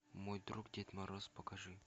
мой друг дед мороз покажи